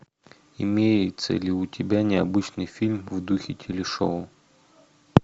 имеется ли у тебя необычный фильм в духе телешоу